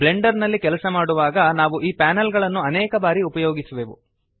Blender ನಲ್ಲಿ ಕೆಲಸ ಮಾಡುವಾಗ ನಾವು ಈ ಪ್ಯಾನೆಲ್ ಗಳನ್ನು ಅನೇಕ ಬಾರಿ ಉಪಯೋಗಿಸುವೆವು